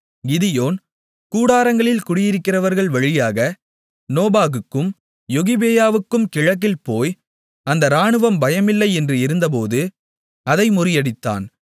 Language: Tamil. கிதியோன் கூடாரங்களில் குடியிருக்கிறவர்கள் வழியாக நோபாகுக்கும் யொகிபெயாவுக்கும் கிழக்கில் போய் அந்த ராணுவம் பயமில்லை என்று இருந்தபோது அதை முறியடித்தான்